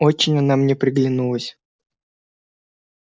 очень она мне приглянулась